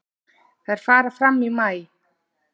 Þær fara fram í maí.